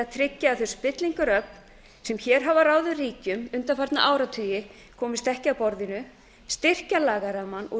tryggja að þau spillingaröfl sem hér hafa ráðið ríkjum undanfarna áratugi komist ekki að borðinu styrkja lagarammann og